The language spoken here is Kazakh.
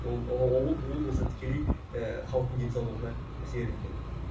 ол болса тікелей ііі халықтың денсаулығына әсер етеді